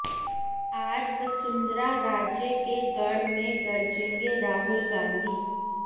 आज वसुंधरा राजे के गढ़ में गरजेंगे राहुल गांधी